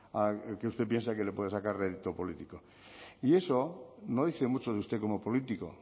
que usted piensa que le pueden sacar rédito político y eso no dice mucho de usted como político